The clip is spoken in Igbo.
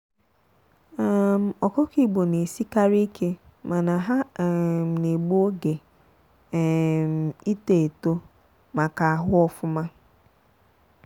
um ọkụkọ igbo na esikarị ike mana ha um na-egbu oge um ịto eto ma ka ahụ ofụma.